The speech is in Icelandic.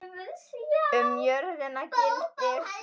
Um jörðina gildir